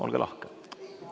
Olge lahked!